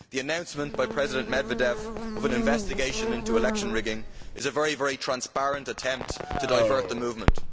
The announcement by President Medvedev of an investigation into election rigging is a very transparent attempt to divert the movement.